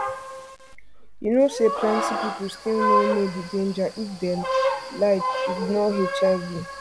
you know say plenty people still no know no know the danger if dem like ignore hiv